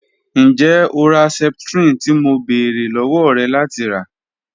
Njẹ o ra septrin ti mo beere lọwọ rẹ lati ra?